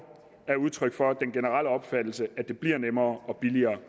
er udtryk for at den generelle opfattelse er at det bliver nemmere og billigere